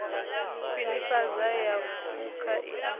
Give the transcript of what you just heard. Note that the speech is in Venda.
khwinifhadzo ya phukha i a